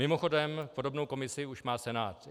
Mimochodem podobnou komisi už má Senát.